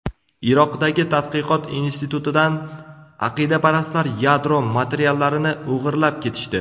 Iroqdagi tadqiqot institutidan aqidaparastlar yadro materiallarini o‘g‘irlab ketishdi.